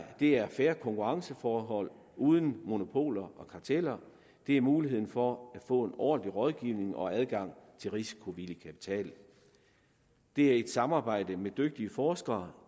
det er fair konkurrenceforhold uden monopoler og karteller det er muligheden for at få en ordentlig rådgivning og adgang til risikovillig kapital det er et samarbejde med dygtige forskere